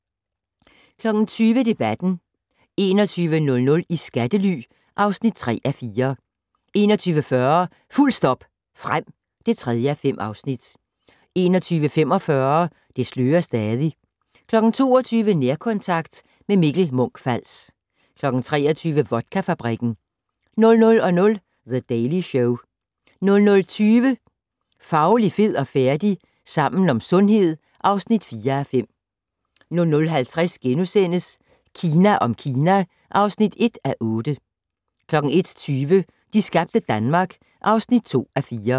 20:00: Debatten 21:00: I skattely (3:4) 21:40: Fuldt stop frem (3:5) 21:45: Det slører stadig 22:00: Nærkontakt - med Mikkel Munch-Fals 23:00: Vodkafabrikken 00:00: The Daily Show 00:20: Fauli, fed og færdig? - Sammen om sundhed (4:5) 00:50: Kina om Kina (1:8)* 01:20: De skabte Danmark (2:4)